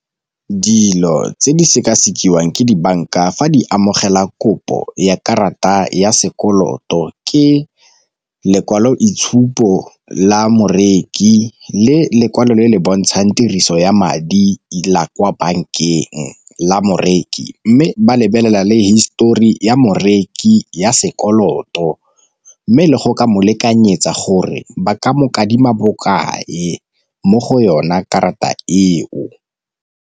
Dilo tse di sekasekiwa ke dibanka fa di amogela kopo ya karata ya sekoloto ke lekwaloitshupo la moreki le lekwalo le le bontshang tiriso ya madi la kwa bankeng la moreki. Mme ba lebelela le histori ya morekisi ya sekoloto, mme le go ka mo lekanyetsa gore ba ka mo bokae mo go yona karata eo.